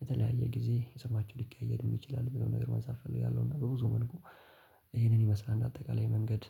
በተለያየ ጊዜ ስማቸው ሊቀያየርም ይችላል ሚለውን ነገር ማንሳት እፈልጋለሁ። እና በብዙ መልኩ ይሄንን ይመስላል አጠቃላይ የመንገድ